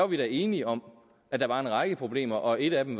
vi var enige om at der var en række problemer og et af dem